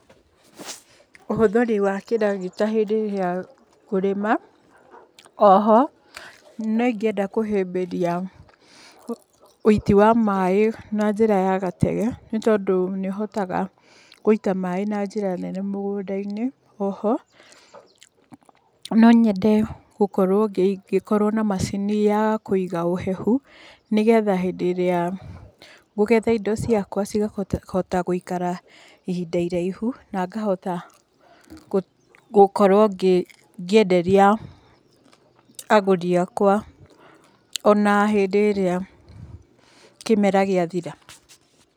Ũhũthĩri wa kĩragita hĩndĩ ĩrĩa kũrĩma, oho nĩ ingĩenda kũhĩmbĩria ũiti wa maaĩ na njĩra ya gatege, tondũ nĩ ũhotaga gũita maaĩ na njĩra nene mũgũnda-inĩ. Oho no nyende gũkorwo ngĩkorwo na macini ya kũiga ũhehu, ni getha hĩndĩ ĩria ngũgetha indo ciakwa cikahota gũikara ihinda iraihu, na ngahota gũkorwo ngĩenderia agũri akwa, ona hĩndi ĩrĩa kĩmera gĩathira.